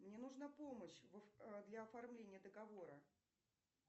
мне нужна помощь для оформления договора